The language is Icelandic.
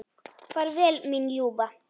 Far vel mín ljúfa.